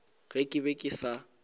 ge ke be ke sa